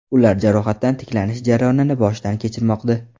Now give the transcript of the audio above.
Ular jarohatdan tiklanish jarayonini boshdan kechirmoqda .